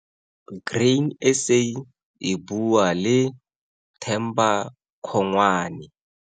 Grain SA e bua le Themba Congwane.